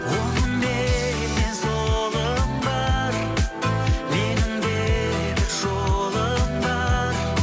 оңымменнен солым бар менің де бір жолым бар